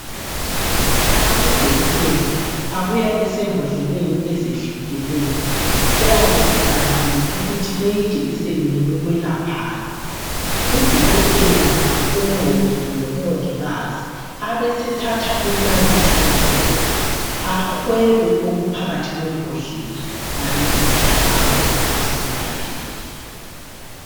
Amajekiseni abuya esembodleleni ezehlukeneyo eyabe ibhaliwe ukuthi eyi ijekiseni ngeyokwelaphani. Udokotela kumbe umongi kumbe umongikazi abesethatha inalithi yakhona ahwebe okuphakathi kwembodlela abesesi hlaba ukuthi siyelapheke.